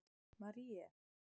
Marie